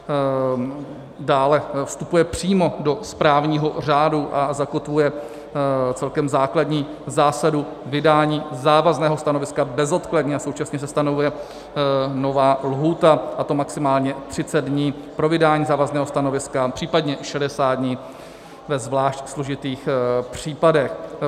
Dále vstupuje přímo do správního řádu a zakotvuje celkem základní zásadu vydání závazného stanoviska bezodkladně a současně se stanovuje nová lhůta, a to maximálně 30 dní pro vydání závazného stanoviska, případně 60 dní ve zvlášť složitých případech.